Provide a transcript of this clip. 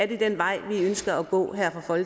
det er den vej vi ønsker at gå